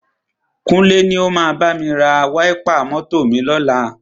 Kúnlé ni o máa bámi ra wáípà mọ́tọ̀ ni ọ̀la.